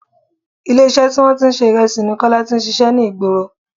Ilé iṣẹ́ tí wọn tí ń ṣe Ìrẹsì ni Kọ́lá tí ń ṣíṣe ní ìgboro.